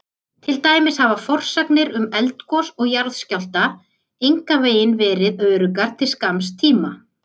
Til dæmis hafa forsagnir um eldgos og jarðskjálfta engan veginn verið öruggar til skamms tíma.